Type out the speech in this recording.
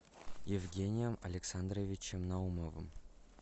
евгением александровичем наумовым